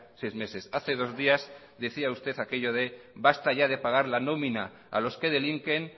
seis meses hace dos días decía usted aquello de basta ya de pagar la nómina a los que delinquen